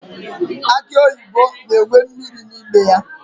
Akị oyibo na-enwe mmiri n'ime ya.